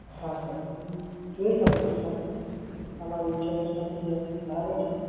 હાં Sir. જોઈ શકું છું Sir, તમારું Insurance નથી Sir. બરાબર છે?